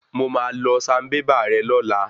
Mo máa lọ sanbébà rè lọ́la.